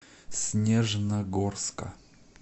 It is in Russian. снежногорска